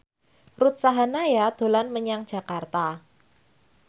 Ruth Sahanaya dolan menyang Jakarta